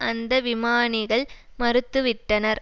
அந்த விமானிகள் மறுத்துவிட்டனர்